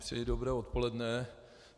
Přeji dobré odpoledne.